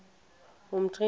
umtriniti